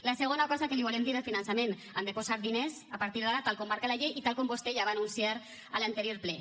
la segona cosa que li volem dir del finançament han de posar diners a partir d’ara tal com marca la llei i tal com vostè ja va anunciar a l’anterior ple